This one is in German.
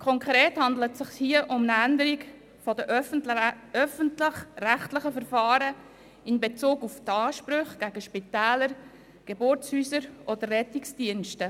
Konkret handelt es sich hier um eine Änderung der öffentlich-rechtlichen Verfahren in Bezug auf die Ansprüche gegen Spitäler, Geburtshäuser oder Rettungsdienste.